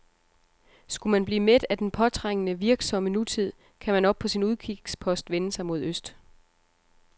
Skulle man blive mæt af den påtrængende, virksomme nutid, kan man oppe på sin udkigspost vende sig mod øst.